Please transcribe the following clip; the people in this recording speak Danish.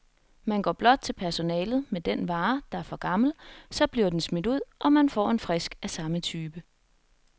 Man går blot til personalet med den vare, der er for gammel, så bliver den smidt ud, og man får en frisk af samme type.